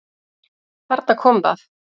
Þarna kom það!